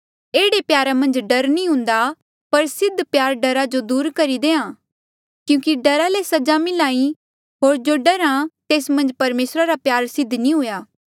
एह्ड़े प्यारा मन्झ डर नी हुन्दा पर सिद्ध प्यार डरा जो दूर करी देहां क्यूंकि डरा ले सजा मिल्हा ई होर जो डरहा तेस मन्झ परमेसरा रा प्यार सिद्ध नी हुआ